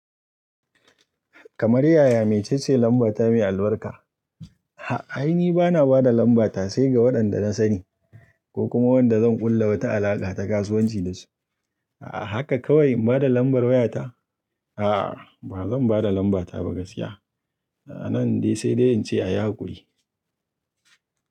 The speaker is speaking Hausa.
Kamar yaya me cece lamba ta mai albarka? A'a, ni bana ba da lambata sai ga waɗanda na sani ko kuma waɗanda zan ƙulla wata alaƙa ta kasuwanci da su. A haka kawai in bada lambar wayata? A'a, ba zan ba da lambata ba gaskiya. A nan dai sai dai in ce ayi hakuri.